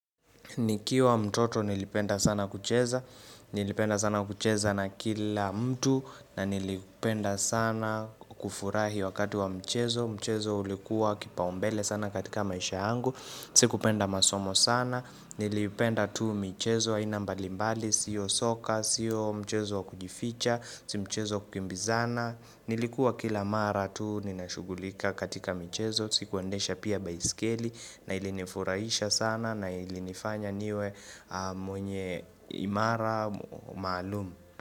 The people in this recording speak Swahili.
Nikiwa mtoto nilipenda sana kucheza, hhh nilipenda sana kucheza na kila mtu na nilipenda sana kufurahi wakati wa mchezo, mchezo ulikuwa kipaombele sana katika maisha yangu, mmhhch si kupenda masomo sana, nilipenda tu michezo aina mbali mbali, sio soka, siyo mchezo kujificha, si mchezo wa kukimbizana Nilikuwa kila mara tu nina shugulika katika michezo Sikuendesha pia baiskeli. Hh na ilinifurahisha sana na ilinifanya niwe mwenye ahh imara maalum.